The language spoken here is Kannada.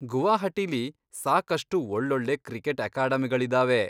ಗುವಾಹಟಿಲಿ ಸಾಕಷ್ಟು ಒಳ್ಳೊಳ್ಳೆ ಕ್ರಿಕೆಟ್ ಅಕಾಡೆಮಿಗಳಿದಾವೆ.